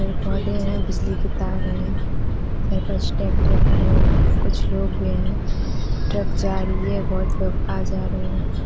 पेड़ पोधे हैं। बिजली की तार हैं। मेरे पास ट्रेक्टर खड़े हैं। कुछ लोग भी हैं। ट्रक जा रही है। बहोत लोग आ जा रहे हैं।